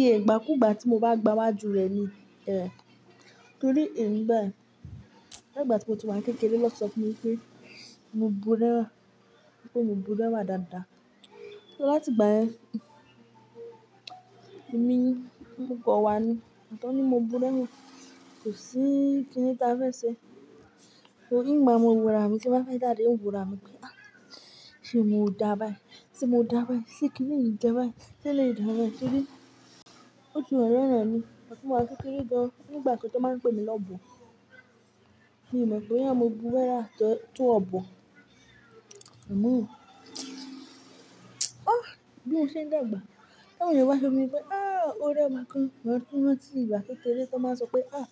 Ye, ìgbàkúgbà tí mo bá gbá wájú rẹ̀ ni. Ẹ ntorí emí bai, nígbà tí mo ti wá kékeré náà tí sọ fún mi pé mo bú rẹwà, pé mo bú rẹwá dáadáa. Láti ìgbà ẹ, èmi ń mọ̀ kàn wá ni, ìgbà tán ni mo bú rẹwá, kò sí kíni táa fẹ́ ṣe. Òún maà mo wùrà mi ti mo bá fe jáde, oun wùrà mi pé "Ah! Sé mo dàbà i? Sé mo dàbà ẹ? Sé kíni n dàbà ẹ? Se lè dàbà ẹ?" Kíni, ó ti walara èmi, igba ti mo wà ni kékeré gan. Nígbà kan tàn máa pè mi lọ́bọ̀, mo mọ̀ bóyá mo búra wá tó ọ̀bọ̀. Ọmọ! Ah! Bí mo ṣe ń dàgbà, ta wọn ènìyàn bá sọ fún mi pé "Ah! O rẹwà gan." Mo tún rán ti ìgbà kékeré tó máa sọ pé "Ah!